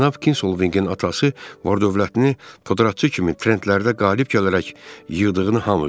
Cənab Kinsolvinqin atası var-dövlətini podratçı kimi ferentlərdə qalib gələrək yığdığını hamı bilir.